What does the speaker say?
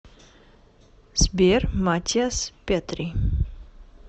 сбер матиас петри